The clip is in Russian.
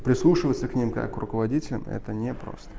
прислушиваться к ним как к руководителям это не просто